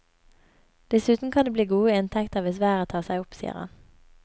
Dessuten kan det bli gode inntekter hvis været tar seg opp, sier han.